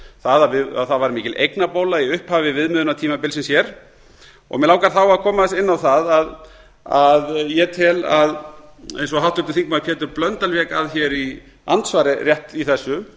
það að það var mikil eignabóla í upphafi viðmiðunartímabilsins hér mig langar þá að koma aðeins inn á það að ég tel að eins og háttvirtur þingmaður pétur blöndal vék að hér í andsvari rétt í þessu